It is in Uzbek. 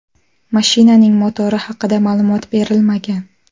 Mashinaning motori haqida ma’lumot berilmagan.